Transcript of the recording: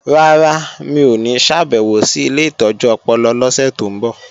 Rárá, mi ò ní ṣàbèwò sí ilé ìtọ́jú ọpọlọ lọ́sẹ̀ tó ń bọ̀